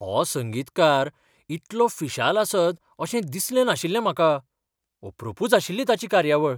हो संगीतकार इतलो फिशाल आसत अशें दिसलें नाशिल्लें म्हाका.अपरूपच आशिल्ली ताची कार्यावळ.